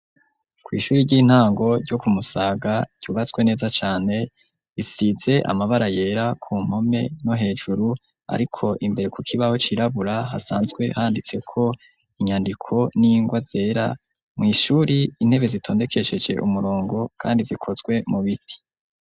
Kw'ishuri ry'intango ryo ku Musaga ryubatswe neza cane, risize amabara yera ku mpome no hejuru, ariko imbere ku kibaho cirabura hasanzwe handitseko inyandiko n'ingwa zera. Mw' ishuri, intebe zitondekesheje umurongo kandi zikozwe mu biti.